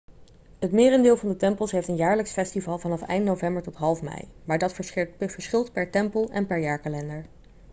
het merendeel van de tempels heeft een jaarlijks festival vanaf eind november tot half mei maar dat verschilt per tempel en per jaarkalender